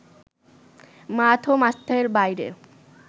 মাঠ ও মাঠের বাইরে